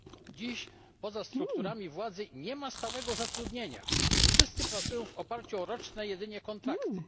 Dziś poza strukturami władzy nie ma stałego zatrudnienia wszyscy pracują w oparciu o jedynie roczne kontrakty.